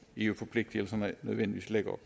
eu forpligtelserne nødvendigvis lægger